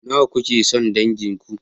Nawa kuke son dangin ku?